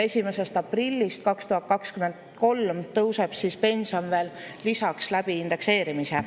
1. aprillist 2023 tõuseb pension veel lisaks läbi indekseerimise.